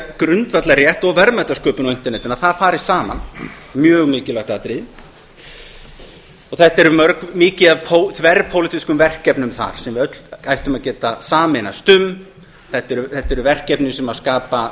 grundvallarrétt og verðmætasköpun á internetinu að það fari saman mjög mikilvæg atriði þetta er mikið af þverpólitísk verkefnum þar sem við öll ættum að geta sameinast um þetta eru verkefni sem